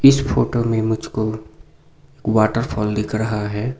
इस फोटो में मुझको वॉटरफॉल दिख रहा है।